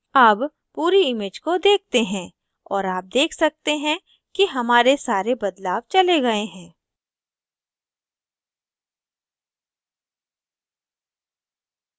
अब पूरी image को देखते हैं और आप देख सकते हैं कि हमारे सारे बदलाव चले गए हैं